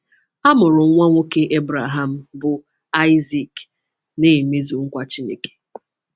A mụrụ nwa nwoke Ebreham bụ́ Aịzik, na-emezu nkwa Chineke.